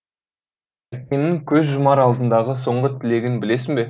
әкеңнің көз жұмар алдындағы соңғы тілегін білесің бе